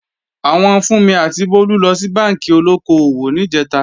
Àwọn Fúnmi àti Bólú lọ sí bánkì olóko-òwò níjẹ̀ta